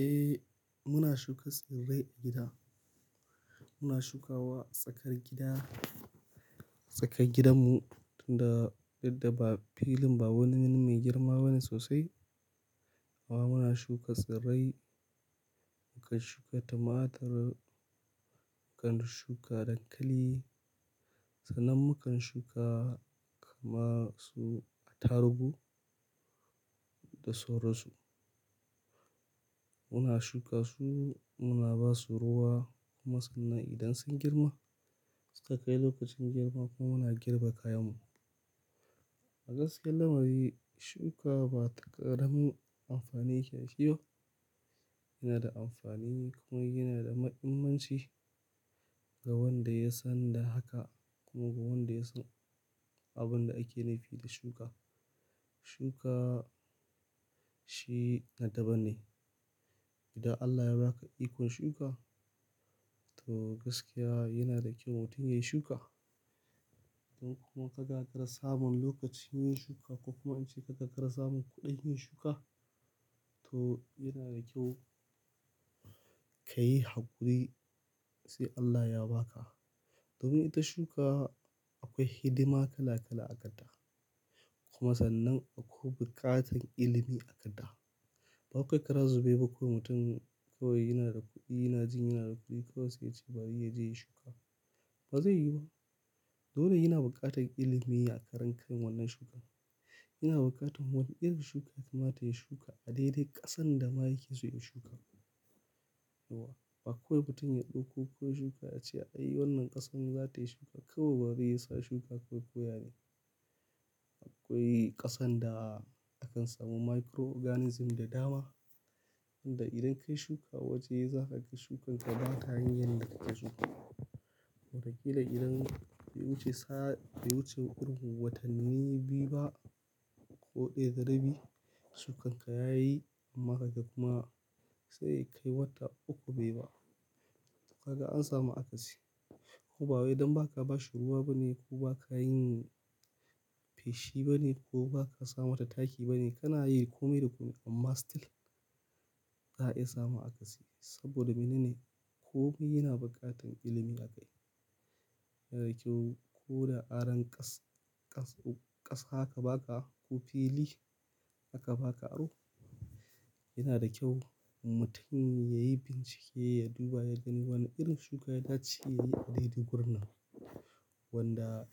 Eh muna shuka tsirrai a gida. Muna shukawa a tsakar gida, tsakar gidanmu tunda dudda ba filin ba wani wani mai girma bane sosai. Amma muna shuka tsirrai, mukan shuka tumatur, mukan shuka dankali, sannan mukan shuka kama su atarugu da sauransu. Muna shuka su, muna ba su ruwa kuma sannan idan sun girma, sai kai lokacin girma kuma muna girbe kayanmu. A gaskiya lamari shuka bata ƙaramin amfani yake da shi ba. Yana da amfani kuma yana da mahimmanci ga wanda ya san da haka kuma ga wanda ya san abin da ake nufi da shuka. Shuka shi na daban ne. Idan Allah ya ba ka ikon shuka, to gaskiya yana da kyau mutum yayi shuka. Ko kuma ka ga kara samun lokaci yin shuka ko kuma in ce ka ga kara samun kuɗi yin shuka, to yana da kyau ka yi hakuri sai Allah ya ba ka. Domin ita shuka akwai hidima kala kala a kanta. Kuma sannan akwai buƙatar ilimi a kada. Bawai kawai kara zube ba ko mutum kawai yana da kuɗi, yana jin yana da kuɗi kawai sai ya ce bari yaje yi shuka. Bazai yu ba. Dole yana buƙatar ilimi a karen kan wannan shukan. Yana buƙatar wani irin shuka ya kamata ya shuka a daidai ƙasan da ma yake so ya shuka. To ba kawai mutum ya ɗauko ko ya shuka ya ce ai wannan ƙasan za ta yi shuka. Kawai bari yasa shuka kawai koya ne. Akwai ƙasan da akan samu microorganism da dama wanda idan ka yi shuka a waje za ka ga shukan ka ba ta yin yadda kake so. Watakila idan bai wuce sa, bai wuce watanni biyu ba ko ɗaya da rabi, shukan ka ya yi amma ka ga kuma sai kai wata uku bai ba. Kaga an samu akasi. Kuma ba wai dan ba ka ba shi ruwa bane ko ba ka yin feshi bane ko ba ka sa mata taki bane, kana yi kome da kome amma still za a iya samun akasi saboda mene ne? Kome yana buƙatar ilimi a kai. Yana da kyau ko da aron ƙas- ƙas- ƙasa aka ba ka ko fili aka ba ka aro, yana da kyau mutum ya yi bincike, ya duba, ya gani wane irin shuka ya dace ya yi a daidai gurin nan. Wanda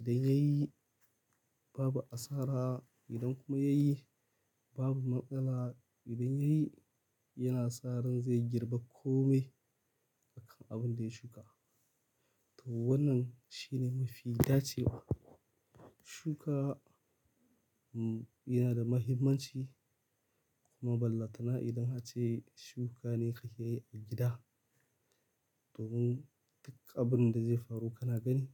idan ya yi babu asara, idan kuma ya yi babu matsala, idan ya yi yana sa ran zai girbe kome a kan abin da ya shuka. To wannan shine mafi dacewa. Shuka yana da mahimmanci kuma ballantana idan a ce shuka ne kake yi a gida domin duk abin da zai faru kana gani.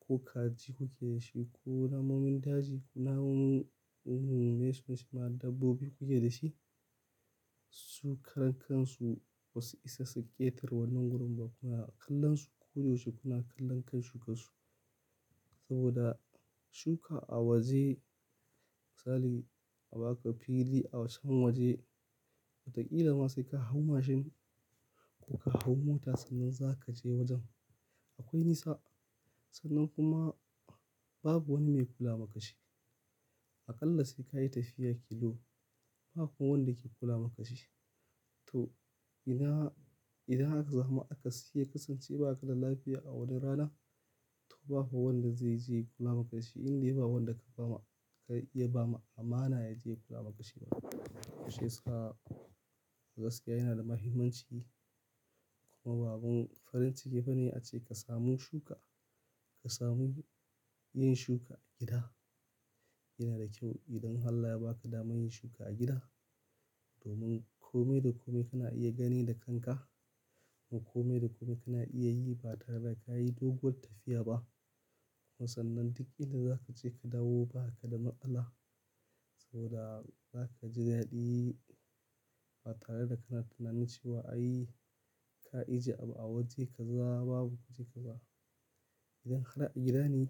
Ko kaji kuke da shi ko namun daji ko namun, namun me ye sunanshi ma dabbobi kuke da shi, su karen kansu wasu isa su ƙetare wannan gurin ba kuma a kallon su koyaushe kuna kallon kan shuka su. Saboda shuka a waje misali a baka fili a wancan waje, watakila ma sai ka hau mashin ko ka hau mota sannan za ka je wajen. Akwai nisa sannan kuma babu wani mai kula maka shi. Aƙalla sai ka yi tafiya kilo, ba kuma wanda ke kula maka shi. To ina, idan haka zamu akasi iya kasancewa aƙalla lafiya a wani rana, to babu wanda zai je kula maka shi inda yi ba wanda ka ba ma, ka iya ba ma amana ya je kula maka shi ba. Shi ya sa a gaskiya yana da mahimmanci kuma babu farin cike ba ne ace ka samu shuka, ka samu yin shuka a gida. Yana da kyau idan Allah ya ba ka damar yin shuka a gida domin kome da kome kana iya gani da kanka kuma kome da kome kana iya yi ba tare da ka yi doguwar tafiya ba. Kuma sannan duk inda za ka je ka dawo baka da matsala saboda za ka ji daɗi ba tare da kana tunanin cewa ai ka ajiye abu a waje kaza babu waje kaza. Idan a gida ne,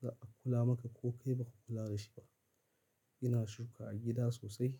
za a kula maka ko kai ba ka kula da shi ba. Yana shuka a gida sosai.